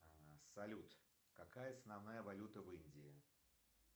салют какая основная валюта в индии